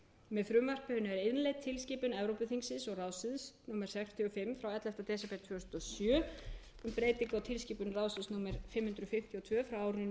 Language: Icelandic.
með frumvarpinu er innleidd tilskipun evrópuþingsins og ráðsins númer sextíu og fimm frá ellefta desember tvö þúsund og sjö um breytingu á tilskipun ráðsins númer fimm hundruð fimmtíu og tvö frá árinu